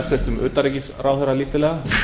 hæstvirts utanríkisráðherra lítillega